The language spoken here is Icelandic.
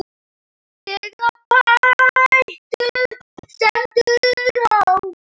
Þegar betur stendur á.